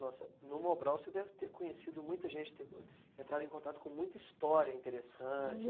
Nossa, no Mobral você deve ter conhecido muita gente, ter entrado em contato com muita história interessante.